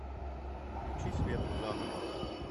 включи свету заново